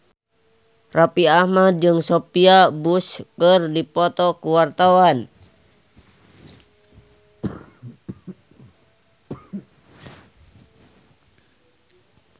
Raffi Ahmad jeung Sophia Bush keur dipoto ku wartawan